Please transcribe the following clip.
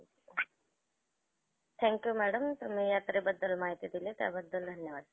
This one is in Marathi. thank you madam तुम्ही यात्रेबद्दल माहिती दिली. त्याबद्दल धन्यवाद.